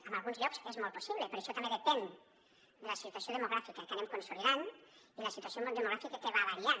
en alguns llocs és molt possible però això també depèn de la situació demogràfica que anem consolidant i la situació demogràfica que va variant